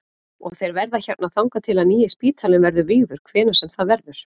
Og þeir verða hérna þangað til að nýi spítalinn verður vígður hvenær sem það verður?